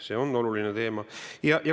See on oluline teema.